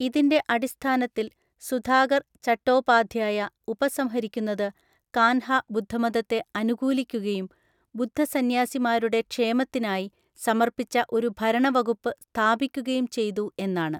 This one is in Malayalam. ഇതിന്‍റെ അടിസ്ഥാനത്തിൽ, സുധാകർ ചട്ടോപാധ്യായ ഉപസംഹരിക്കുന്നത് കാൻഹ ബുദ്ധമതത്തെ അനുകൂലിക്കുകയും ബുദ്ധസന്യാസിമാരുടെ ക്ഷേമത്തിനായി സമർപ്പിച്ച ഒരു ഭരണവകുപ്പ് സ്ഥാപിക്കുകയും ചെയ്തു എന്നാണ്.